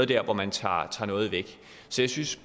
der hvor man tager noget væk så jeg synes